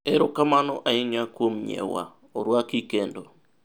erokamano ahinya kuon nyiewa, orwaki kendo